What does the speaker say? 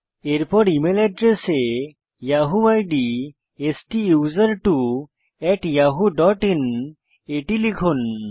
এরপর email এড্রেসে Yahoo ID STUSERTWOYAHOOIN এটি লিখুন